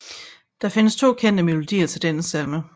Der findes 2 kendte melodier til denne salme